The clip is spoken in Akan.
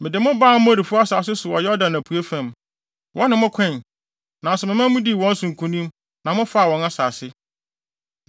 “Mede mo baa Amorifo asase so wɔ Yordan apuei fam. Wɔne mo koe, nanso memaa mudii wɔn so nkonim na mofaa wɔn asase.